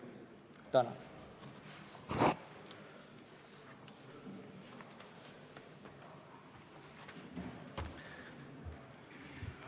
Tänan!